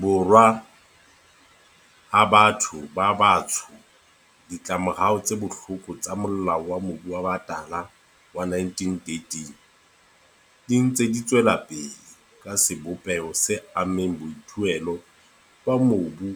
Borwa a batho ba batsho, ditlamorao tse bohloko tsa Molao wa Mobu wa Batala wa 1913 di ntse di tswelapele ka sebopeho se ammeng boithuelo ba mobu